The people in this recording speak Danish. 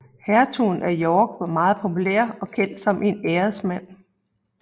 Hertugen af York var meget populær og kendt som en æresmand